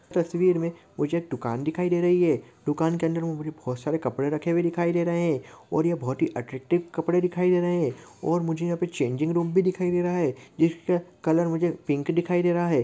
तस्वीर में मुझे एक दुकान दिखाई दे रही है दुकान के अंदर में मुझे बहुत सारे कपरे रखे हुए दिखाई दे रहे हैं और ये बहुत ही अट्रैक्टिव कपरे दिखाई दे रहे हैं और मुझे यहां पर चेंजिंग रूम भी दिखाई दे रहा है इसका कलर मुझे पिंक दिखाई दे रहा है।